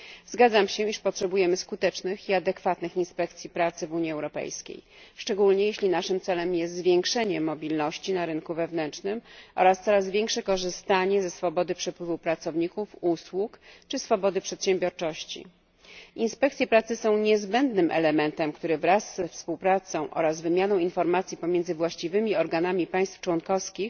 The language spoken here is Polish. Zgadzam się, iż potrzebujemy skutecznych i adekwatnych inspekcji pracy w Unii Europejskiej, szczególnie jeśli naszym celem jest zwiększenie mobilności na rynku wewnętrznym oraz coraz większe korzystanie ze swobody przepływu pracowników, usług czy swobody przedsiębiorczości. Inspekcje pracy są niezbędnym elementem, który wraz ze współpracą i wymianą informacji pomiędzy właściwymi organami państw członkowskich